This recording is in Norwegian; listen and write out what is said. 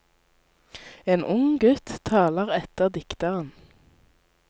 En ung gutt taler etter dikteren.